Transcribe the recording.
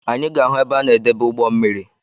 Anyị ga-ahụ ebe a na edebe ugbommiri